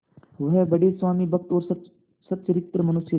वह बड़े स्वामिभक्त और सच्चरित्र मनुष्य थे